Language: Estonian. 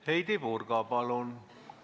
Heidy Purga, palun!